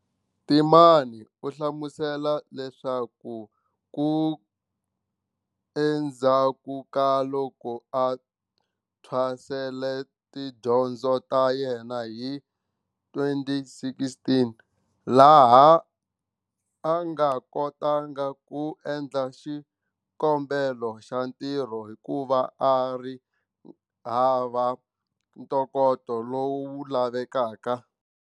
Temane u hlamusela leswaku endzhaku ka loko a thwasele tidyondzo ta yena hi 2016, laha a nga kotanga ku endla xikombelo xa ntirho hikuva a ri hava ntokoto lowu lavekaka.